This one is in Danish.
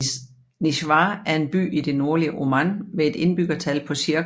Nizwa er en by i det nordlige Oman med et indbyggertal på cirka